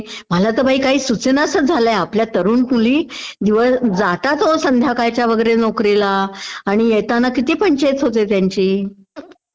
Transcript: मला तर बाई काही सूचेनासचं झालयं, आपल्या तरूण मुली जातात हो संध्याकाळच्या वगैरे नोकरीला आणि येताना किती पंचाइत होते त्यांची..